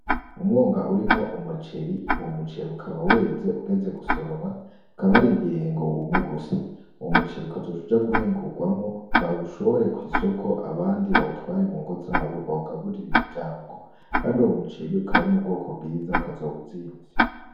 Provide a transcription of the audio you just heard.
Umwonga urimwo umujeri wo mujeri ukaba weze ugeze gusoromwa bakabarindiriye ngo wume gusa uwo muciri ukazoushuja guhingurwamo baushobore kw'isoko abandi bawutware mu ngo zabo bawugaburira imiryango, kandi uwo muceri ukaba arimu bwoko bwiza ukazowuzimvye.